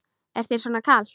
Er þér svona kalt?